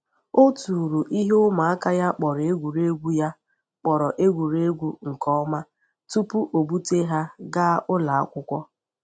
O tụrụ ihe ụmụaka ya kpọrọ egwuregwu ya kpọrọ egwuregwu nke ọma tupu ọ bute ha gaa ụlọ akwụkwọ.